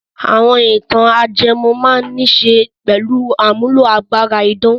Àwọn ìtàn ajẹmọ́ án máa níṣe pẹ̀lú àmúlò agbára idán.